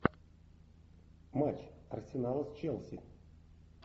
матч арсенала с челси